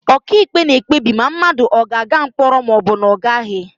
Ọkàikpe na-ekpebi ma mmadụ ogaaga mkpọrọ ma ọ bụ na ọ gaghị.